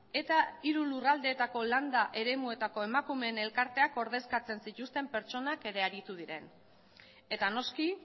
eta hiru lurraldeetako landa eremuetako emakumeen elkarteak ordezkatzen zituzten pertsonak ere aritu diren eta noski